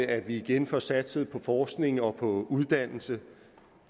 at vi igen får satset på forskning og på uddannelse